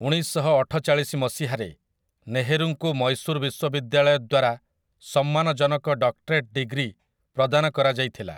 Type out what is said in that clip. ଉଣେଇଶଶହଅଠଚାଳିଶି ମସିହାରେ, ନେହେରୁଙ୍କୁ ମୈଶୂର ବିଶ୍ୱବିଦ୍ୟାଳୟ ଦ୍ୱାରା ସମ୍ମାନଜନକ ଡକ୍ଟରେଟ୍ ଡିଗ୍ରୀ ପ୍ରଦାନ କରାଯାଇଥିଲା ।